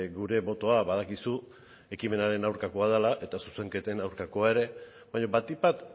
gure botoa badakizu ekimenaren aurkakoa dela eta zuzenketen aurkakoa ere baina batik bat